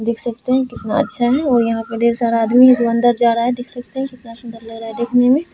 देख सकते है कितना अच्छा है और यहाँ पे ढेर सारा आदमी हैं जो अंदर जा रहा है देख सकते है कितना सुंदर लग रहा है देखने में।